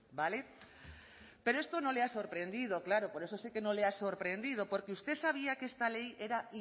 vale pero esto no le ha sorprendido claro por eso sé que no le ha sorprendido porque usted sabía que esta ley era